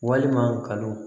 Walima kalon